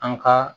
An ka